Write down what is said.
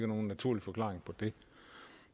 nogen naturlig forklaring